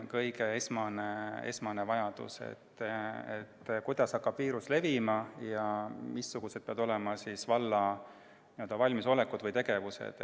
Kõige esmasem vajadus on, kuidas hakkab viirus levima ja missugune peab olema valla n-ö valmisolek või tegevused.